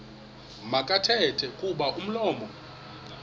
makathethe kuba umlomo